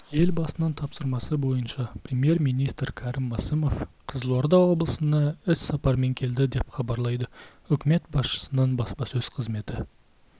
елбасының тапсырмасы бойынша премьер-министр кәрім мәсімов қызылорда облысына іссапармен келді деп хабарлайды үкімет басшысының баспасөз қызметі